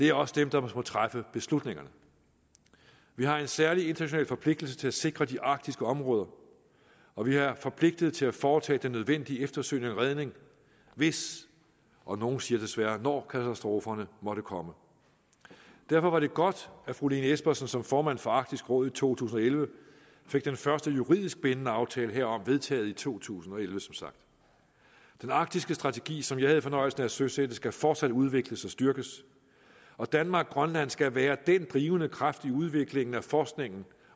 er også dem der må træffe beslutningerne vi har en særlig international forpligtelse til at sikre de arktiske områder og vi er forpligtet til at foretage den nødvendige eftersøgning og redning hvis og nogle siger desværre når katastroferne måtte komme derfor var det godt at fru lene espersen som formand for arktisk råd i to tusind og elleve fik den første juridisk bindende aftale herom vedtaget i to tusind og elleve den arktiske strategi som jeg havde fornøjelsen af at søsætte skal fortsat udvikles og styrkes og danmarkgrønland skal være den drivende kraft i udviklingen af forskningen